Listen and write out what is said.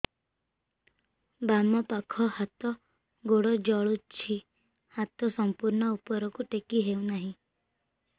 ବାମପାଖ ହାତ ଗୋଡ଼ ଜଳୁଛି ହାତ ସଂପୂର୍ଣ୍ଣ ଉପରକୁ ଟେକି ହେଉନାହିଁ